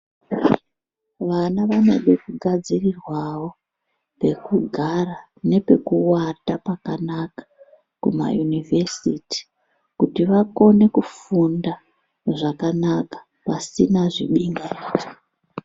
Vanavanode kugadzirirwao pekugara nepekuwata pakanaka kumayunivhesiti kuti vakone kufunda zvakanaka pasina zvibingamupini.